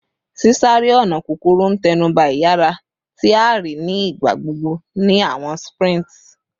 Sisare-ọna kukuru n tẹnuba iyara, ti a rii ni igbagbogbo ni awọn sprints